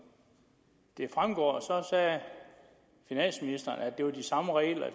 det fremgår sagde finansministeren at det var de samme regler